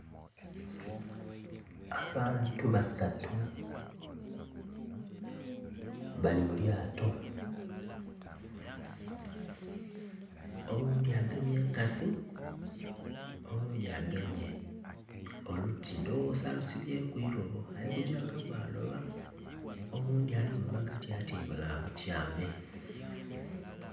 Abantu basatu bali mu lyato, oghundhi agemye enkasi oghundhi agemye oluti ndhoghoza alusibyeku irobo ali gyanga bwa loba oghundhi ali mu magati atyaime bwa butyame